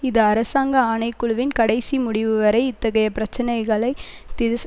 இது அரசாங்க ஆணை குழுவின் கடைசி முடிவு வரை இத்தகைய பிரச்சினைகளை திஸ்